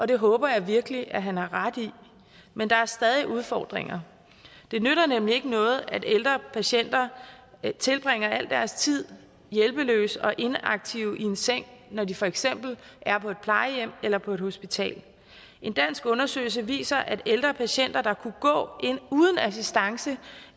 det håber jeg virkelig at han har ret i men der er stadig udfordringer det nytter nemlig ikke noget at ældre patienter tilbringer al deres tid hjælpeløse og inaktive i en seng når de for eksempel er på et plejehjem eller på et hospital en dansk undersøgelse viser at ældre patienter der kunne gå ind uden assistance